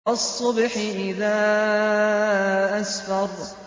وَالصُّبْحِ إِذَا أَسْفَرَ